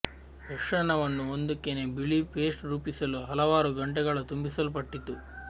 ಮಿಶ್ರಣವನ್ನು ಒಂದು ಕೆನೆ ಬಿಳಿ ಪೇಸ್ಟ್ ರೂಪಿಸಲು ಹಲವಾರು ಗಂಟೆಗಳ ತುಂಬಿಸಲ್ಪಟ್ಟಿತ್ತು